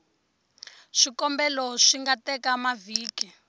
swikombelo swi nga teka mavhiki